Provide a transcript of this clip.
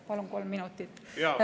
Palun kolm minutit juurde.